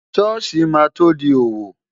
Ṣọ́ọ̀ṣì máa tó di òwò.